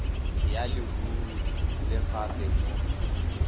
ya leruri le gape mo